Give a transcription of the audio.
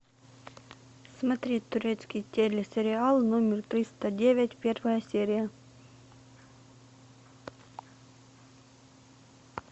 смотреть турецкий телесериал номер триста девять первая серия